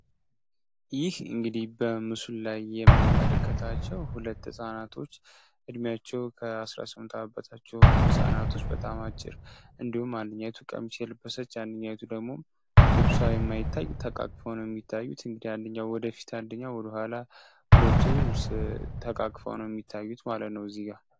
ይህ እንግዲህ በምስል ላይ የምንመለከታቸው 2 ህጻናቶች እድሜያቸው ከ18 በታች አንዲቱ በጣም አጭር እንዲሁም አንደኛው ነው የሚታዩት ወደፊት አንደኛው ወደኋላ ተቃቅፈው ነው የሚታዩት ማለት ነው።